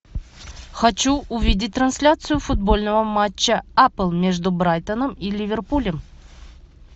хочу увидеть трансляцию футбольного матча апл между брайтоном и ливерпулем